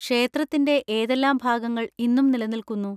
ക്ഷേത്രത്തിന്റെ ഏതെല്ലാം ഭാഗങ്ങൾ ഇന്നും നിലനിൽക്കുന്നു?